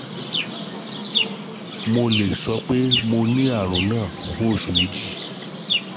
Mo lè sọ pé mo ní àrùn náà fún nǹkan bí oṣù méjì